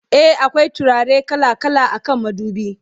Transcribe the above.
e akwai turare kala kala akan madubi